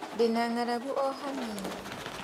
Ndĩna ng'aragu o hanini.